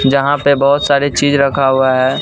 यहां पे बहोत सारे चीज रखा हुआ है।